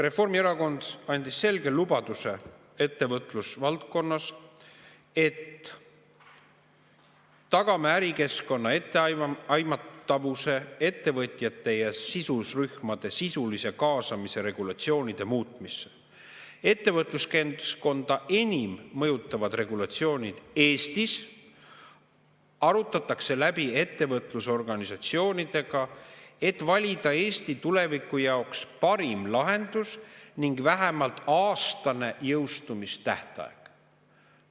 Reformierakond andis selge lubaduse ettevõtlusvaldkonna teemal: "Tagame ärikeskkonna etteaimatavuse, ettevõtjate ja sidusrühmade sisulise kaasamise regulatsioonide muutmisse Ettevõtluskeskkonda enim mõjutavad regulatsioonid Eestis arutatakse läbi ettevõtlusorganisatsioonidega, et valida Eesti tuleviku jaoks parim lahendus ning vähemalt aastane jõustumistähtaeg.